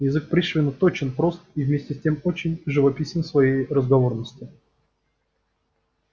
язык пришвина точен прост и вместе с тем очень живописен в своей разговорности